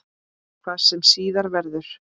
Hvað sem síðar verður.